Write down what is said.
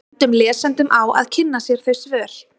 Við bendum lesendum á að kynna sér þau svör.